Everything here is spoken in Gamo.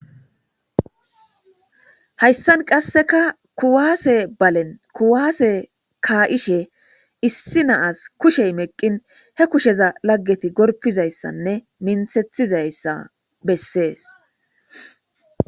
Hayissan qasekka kuwase ballenni kuwase ka'ishshe issi nasi kushsheyi meqqin he kushezza lagetti gorpizayisanne minthethizayissa besses.